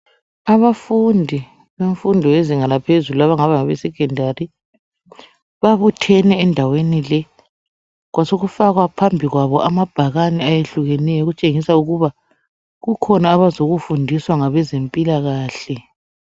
Abafundi bemfundo yezinga laphezulu abangaba ngabe secondary . Babuthene endaweni le , kwasekufakwa phambi kwabo amabhakane ayehlukeneyo okutshengisa ukuba kukhona abazokufundiswa ngabezempilakahle